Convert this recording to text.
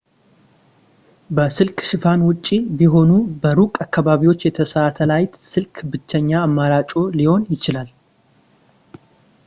ከስልክ ሽፋን ውጭ በሆኑ በሩቅ አካባቢዎች የሳተላይት ስልክ ብቸኛ አማራጭዎ ሊሆን ይችላል